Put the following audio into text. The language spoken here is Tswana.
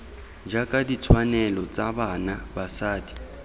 jaaka ditshwanelo tsa bana basadi